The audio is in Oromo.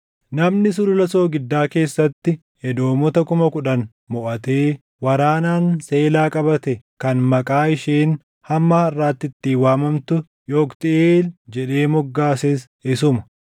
Namni Sulula Soogiddaa keessatti Edoomota kuma kudhan moʼatee waraanaan Seelaa qabate kan maqaa isheen hamma harʼaatti ittiin waamamtu, Yoqtiʼeel jedhee moggaases isuma.